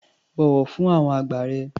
Bọ̀wọ̀ fún àwọn àgbà rẹ.